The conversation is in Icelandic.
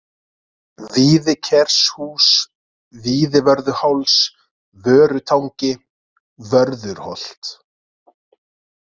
Víðikershús, Víðivörðuháls, Vörutangi, Vörðurholt